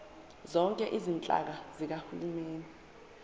zonke izinhlaka zikahulumeni